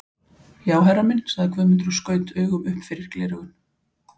Já herra minn, sagði Guðmundur og skaut augum upp fyrir gleraugun.